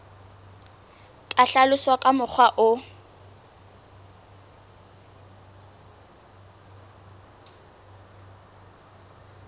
ka hlaloswa ka mokgwa o